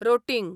rotting